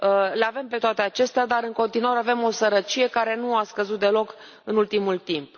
Le avem pe toate acestea dar, în continuare, avem o sărăcie care nu a scăzut deloc în ultimul timp.